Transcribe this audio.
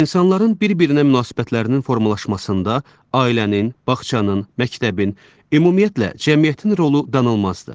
İnsanların bir-birinə münasibətlərinin formalaşmasında ailənin, bağçanın, məktəbin, ümumiyyətlə cəmiyyətin rolu danılmazdır.